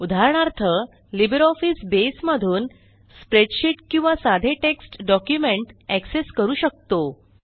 उदाहरणार्थ LibreOffice Base मधून spreadsheet किंवा साधे टेक्स्ट डॉक्युमेंट एक्सेस करू शकतो